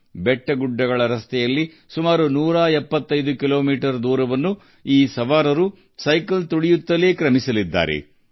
ಈ ಜನರು ಪರ್ವತದ ರಸ್ತೆಗಳಲ್ಲಿ ಸುಮಾರು ನೂರ ಎಪ್ಪತ್ತೈದು ಕಿಲೋಮೀಟರ್ ದೂರವನ್ನು ಸೈಕ್ಲಿಂಗ್ ಮೂಲಕ ಕ್ರಮಿಸುತ್ತಾರೆ